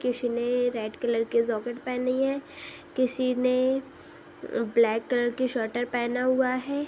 किसी ने red colour के जौकेट पहनी है। किसी ने म् ब्लैक कलर की स्वेटर पहना हुआ है।